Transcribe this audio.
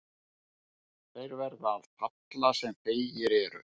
Þeir verða að falla sem feigir eru.